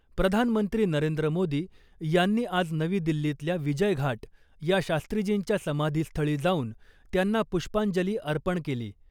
प्रधानमंत्री नरेंद्र मोदी यांनी आज नवी दिल्लीतल्या विजय घाट या शास्त्रीजींच्या समाधीस्थळी जाऊन त्यांना पुष्पांजली अर्पण केली .